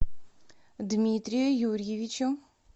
дмитрию юрьевичу